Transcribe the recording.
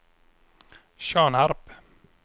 Tjörnarp